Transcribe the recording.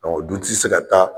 Ɔ du se ka taa.